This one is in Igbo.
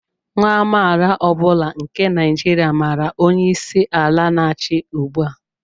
Nwa amaala ọ bụla nke Naijiria màrà onye isi ala n'achị ugbua